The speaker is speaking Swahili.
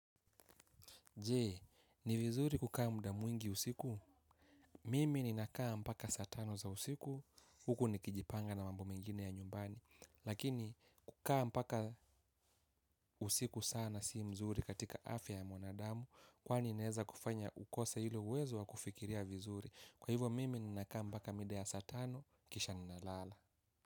Je, ni vizuri kukaa mda mwingi usiku? Mimi ninakaa mpaka saa tano za usiku, huku nikijipanga na mambo mengine ya nyumbani. Lakini, kukaa mpaka usiku sana si mzuri katika afya ya mwanadamu, kwani inaeza kufanya ukose hilo uwezo wa kufikiria vizuri. Kwa hivyo, mimi ninakaa mpaka mida ya saa tano, kisha ninalala.